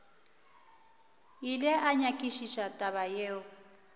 ile a nyakišiša taba yeo